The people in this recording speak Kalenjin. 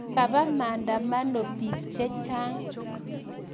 Kapa maandamano p[iik che channg